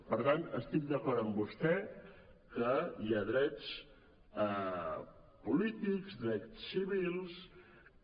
per tant estic d’acord amb vostè que hi ha drets polítics drets civils que